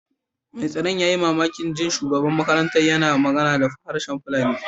Mai tsaron ya yi mamakin jin shugaban makarantar yana magana da harshen Fulani.